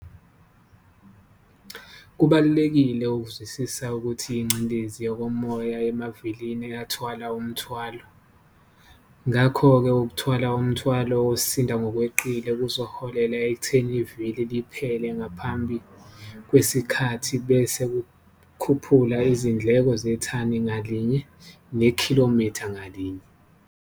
Kubalulekile ukuzwisisa ukuthi yingcindezi yokumoya emavilini ethwala umthwalo. Ngakho-ke ukuthwala umthwalo osinda ngokweqile kuzoholela ekutheni ivili liphele ngaphambi kwesikhathi bese kukhuphula izindleko zethani ngalinye nekhilomitha ngalinye.